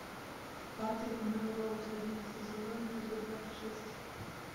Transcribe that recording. патрик мелроуз одиннадцатый сезон эпизод двадцать шесть